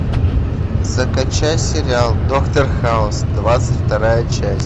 закачай сериал доктор хаус двадцать вторая часть